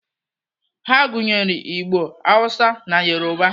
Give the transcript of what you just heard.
Ha gụnyere Igbo, Hausa na Yoruba.